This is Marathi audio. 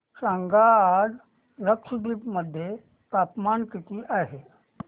सांगा आज लक्षद्वीप मध्ये तापमान किती आहे